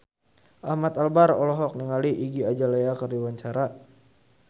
Ahmad Albar olohok ningali Iggy Azalea keur diwawancara